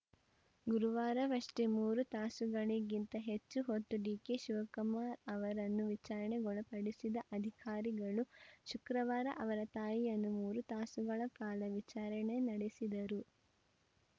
ಗುರುವಾರವಷ್ಟೇ ಮೂರು ತಾಸುಗಳಿಗಿಂತ ಹೆಚ್ಚು ಹೊತ್ತು ಡಿಕೆಶಿವಕುಮಾರ್‌ ಅವರನ್ನು ವಿಚಾರಣೆಗೊಳಪಡಿಸಿದ ಅಧಿಕಾರಿಗಳು ಶುಕ್ರವಾರ ಅವರ ತಾಯಿಯನ್ನೂ ಮೂರು ತಾಸುಗಳ ಕಾಲ ವಿಚಾರಣೆ ನಡೆಸಿದರು